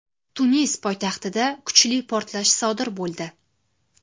Tunis poytaxtida kuchli portlash sodir bo‘ldi .